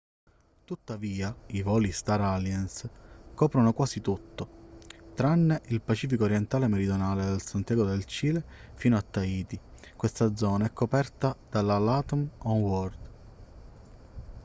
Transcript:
tuttavia il voli star alliance coprono quasi tutto tranne il pacifico orientale meridionale da santiago del cile fino a tahiti questa zona è coperta dalla latam oneworld